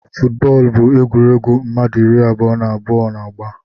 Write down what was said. Footu bóólú bụ egwuruegwu mmadụ ịrị abụọ na abụọ na-agba.